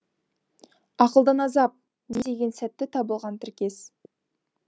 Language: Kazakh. ақылдан азап не деген сәтті табылған тіркес